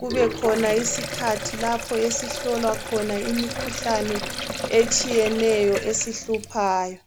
kubekhona isikhathi lapho esihlolwa khona imikhuhlane etshiyetshiyeneyo esihluphayo.